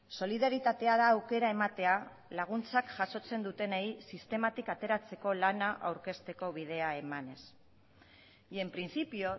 solidaritatea da aukera ematea laguntzak jasotzen dutenei sistematik ateratzeko lana aurkezteko bidea emanez y en principio